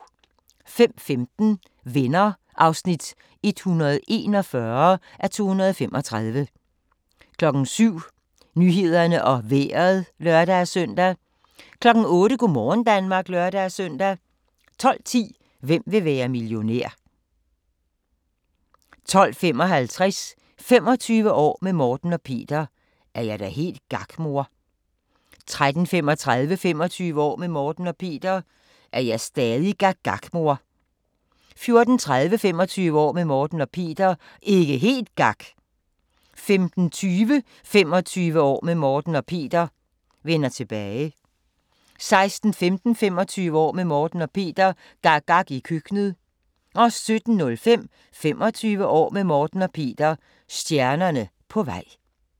05:15: Venner (141:235) 07:00: Nyhederne og Vejret (lør-søn) 08:00: Go' morgen Danmark (lør-søn) 12:10: Hvem vil være millionær? 12:55: 25 år med Morten og Peter – er jeg da helt gak mor? 13:35: 25 år med Morten og Peter – er jeg stadig gak gak mor? 14:30: 25 år med Morten og Peter – ikke helt gak! 15:20: 25 år med Morten og Peter – vender tilbage 16:15: 25 år med Morten og Peter – gak gak i køkkenet 17:05: 25 år med Morten og Peter – stjernerne på vej